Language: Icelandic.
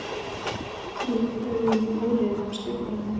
Rekur augun í óreiðu á skrifborðinu.